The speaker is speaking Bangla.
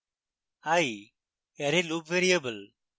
i array loop variable